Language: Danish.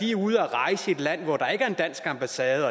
er ude at rejse i et land hvor der ikke er en dansk ambassade og